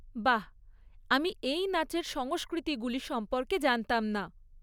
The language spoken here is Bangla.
বাহ! আমি এই নাচের সংস্কৃতিগুলি সম্পর্কে জানতাম না।